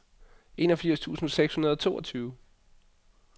enogfirs tusind seks hundrede og toogtyve